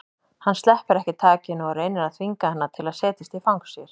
Hann sleppir ekki takinu og reynir að þvinga hana til að setjast í fang sér.